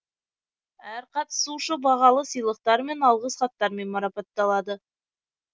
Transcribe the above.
әр қатысушы бағалы сыйлықтармен алғыс хаттармен марапатталады